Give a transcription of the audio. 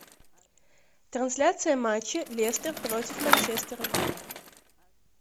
трансляция матча лестер против манчестера